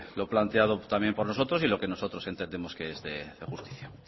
lo planteado también por nosotros y lo que nosotros entendemos que es de justicia